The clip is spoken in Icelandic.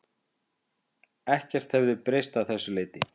Ekkert hefði breyst að þessu leyti